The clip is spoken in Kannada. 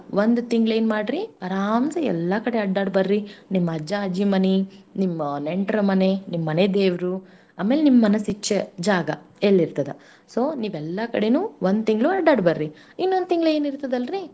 ಒಂದ್ ತಿಂಗ್ಳೇನ್ ಮಾಡ್ರಿ ಅರಾಮ್ ಸೆ ಎಲ್ಲಾ ಕಡೆ ಅಡ್ಡಾಡ್ಬರ್ರಿ. ನಿಮ್ ಅಜ್ಜ ಅಜ್ಜಿ ಮನಿ ನಿಮ್ ನೆಂಟ್ರ ಮನಿ ನಿಮ್ ಮನೆ ದೇವ್ರು ಅಮೆಲ್ ನಿಮ್ ಮನಸ್ ಇಚ್ಚೆ ಜಾಗ ಎಲ್ಲಿರ್ತದ. so ನೀವೆಲ್ಲಾ ಕಡೇನೂ ಒಂದ್ ತಿಂಗ್ಳು ಅಡ್ಡಾಡ್ ಬರ್ರಿ.ಇನ್ನೊಂದ್ ತಿಂಗ್ಳು ಏನಿರ್ತದಲ್ರಿ.